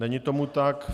Není tomu tak.